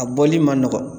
A bɔli ma nɔgɔ